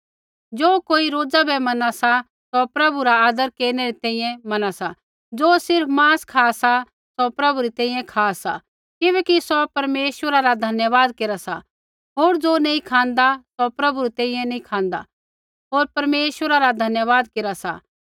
ज़ो कोई रोज़ा बै मना सा सौ प्रभु रा आदर केरनै री तैंईंयैं मना सा ज़ो सिर्फ़ मांस खा सा सौ प्रभु री तैंईंयैं खा सा किबैकि सौ परमेश्वरा रा धन्यवाद केरा सा होर ज़ो नैंई खाँदा सौ प्रभु री तैंईंयैं नैंई खाँदा होर परमेश्वरा रा धन्यवाद केरा सा